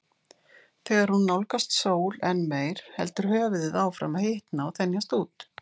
Þegar hún nálgast sól enn meir heldur höfuðið áfram að hitna og þenjast út.